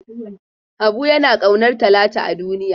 Habu yana ƙaunar Talatu a duniya.